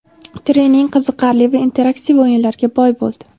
Trening qiziqarli va interaktiv o‘yinlarga boy bo‘ldi.